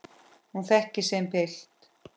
Hún þekkir sinn pilt.